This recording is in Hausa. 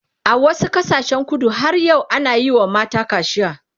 a wasu ƙasashen kudu har yau ana Yi wa mata kacia